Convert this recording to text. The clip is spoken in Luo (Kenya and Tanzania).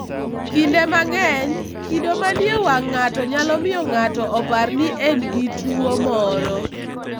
Kinde mang'eny, kido manie wang' ng'ato nyalo miyo ng'ato opar ni en gi tuwo moro.